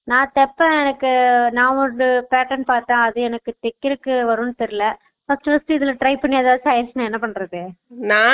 நா தெப்பான் எனக்கு நா ஒரு pattern பாத்தான் அதுஎனக்கு தெக்கறதுக்கு வரும்னு தெரில first first உ இதுல try பண்ணி எதாச்சு ஆய்ருச்சுனா என்ன பண்றது